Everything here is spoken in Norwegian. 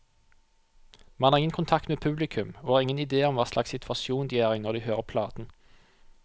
Man har ingen kontakt med publikum, og har ingen idé om hva slags situasjon de er i når de hører platen.